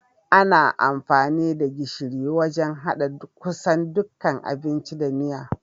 Ana amfani da gishiri wajan haɗa kusan dukkan abinci da miya.